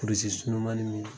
kurusi surunmanin